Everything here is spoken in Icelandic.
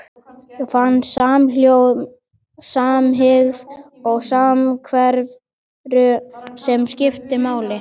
Og fann samhljóm, samhygð og samveru sem skipti máli.